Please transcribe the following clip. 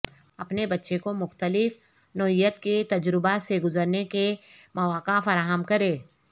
اپنے بچے کو مختلف نوعیت کے تجربات سے گزرنے کے مواقع فراہم کریں